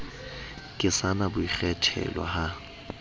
ke sa na boikgethelo ha